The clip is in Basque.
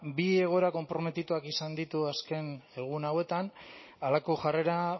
bi egoera konprometituak izan ditu azken egun hauetan halako jarrera